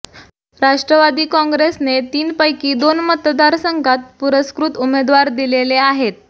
राष्ट्रवादी कॉंग्रेसने तीनपैकी दोन मतदारसंघात पुरस्कृत उमेदवार दिलेले आहेत